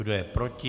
Kdo je proti?